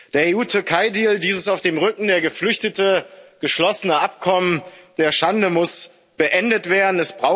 Der EU Türkei Deal, dieses auf dem Rücken der Geflüchteten geschlossene Abkommen der Schande, muss beendet werden.